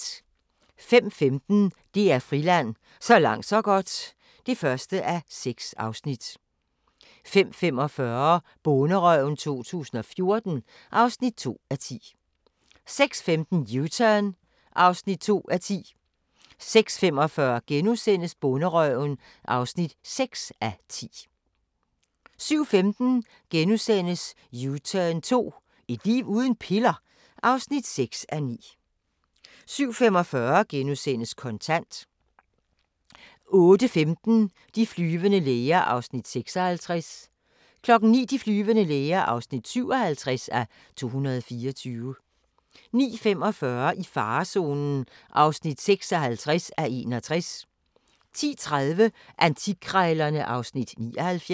05:15: DR Friland: Så langt så godt (1:6) 05:45: Bonderøven 2014 (2:10) 06:15: U-Turn (2:10) 06:45: Bonderøven (6:10)* 07:15: U-turn 2 – et liv uden piller? (6:9)* 07:45: Kontant * 08:15: De flyvende læger (56:224) 09:00: De flyvende læger (57:224) 09:45: I farezonen (56:61) 10:30: Antikkrejlerne (Afs. 79)